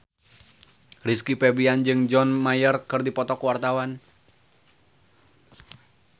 Rizky Febian jeung John Mayer keur dipoto ku wartawan